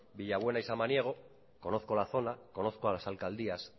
villabuena y samaniego conozco la zona conozco a las alcaldías